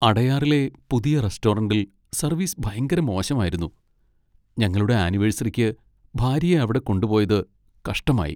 അടയാറിലെ പുതിയ റെസ്റ്റോറന്റിൽ സർവീസ് ഭയങ്കര മോശം ആയിരുന്നു, ഞങ്ങളുടെ ആനിവേഴ്സറിക്ക് ഭാര്യയെ അവിടെ കൊണ്ടുപോയതു കഷ്ടമായി.